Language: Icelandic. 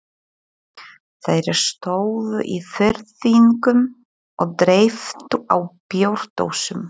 Þeir stóðu í þyrpingum og dreyptu á bjórdósum.